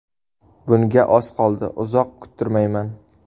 Bunga oz qoldi, uzoq kuttirmayman.